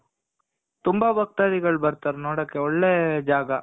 ತುಂಬ ಭಕ್ತಾಧಿಗಳು ಬರ್ತಾರೆ ನೋಡಕೆ ತುಂಬ ಒಳ್ಳೆ ಜಾಗ